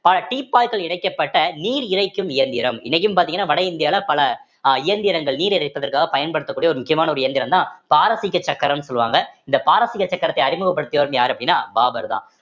பல இறைக்கப்பட்ட நீர் இறைக்கும் இயந்திரம் இன்னைக்கும் பார்த்தீங்கன்னா வட இந்தியால பல அஹ் இயந்திரங்கள் நீர் இறைப்பதற்காக பயன்படுத்தக்கூடிய ஒரு முக்கியமான ஒரு இயந்திரம்தான் பாரசீக சக்கரம் சொல்லுவாங்க இந்த பாரசீக சக்கரத்தை அறிமுகப்படுத்தியவர்ன்னு யாரு அப்படின்னா பாபர்தான்